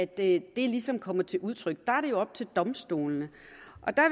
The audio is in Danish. det ligesom kommer til udtryk er det jo op til domstolene